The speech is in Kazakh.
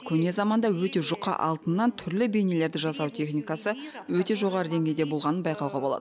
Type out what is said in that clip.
көне заманда өте жұқа алтыннан түрлі бейнелерді жасау техникасы өте жоғары деңгейде болғанын байқауға болады